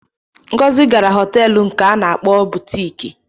Ngozi gara họteelu nke a na-akpọ butiiki.